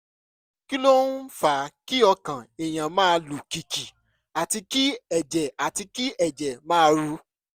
kí ló ń fa kí ọkàn èèyàn máa lù kìkìkì àti kí ẹ̀jẹ̀ àti kí ẹ̀jẹ̀ máa ru?